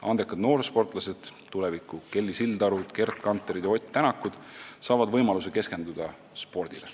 Andekad noorsportlased, tuleviku Kelly Sildarud, Gerd Kanterid ja Ott Tänakud, saavad võimaluse keskenduda spordile.